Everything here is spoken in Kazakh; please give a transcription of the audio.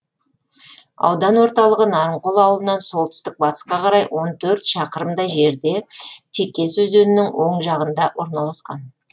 аудан орталығы нарынқол ауылынан солтүстік батысқа қарай он төрт шақырымдай жерде текес өзенінің оң жағасында орналасқан